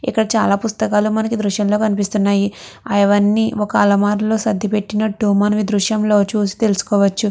ఇక్కడ చాల పుస్తకాలూ మనకు ఈ దృశ్యంలో కనిపిస్తున్నవి. అవన్నీ ఒక అల్మార లొ సర్దిపెట్టినట్టు మనము ఈ దృశ్యంలో చూసి తెలుసుకోవచ్చు.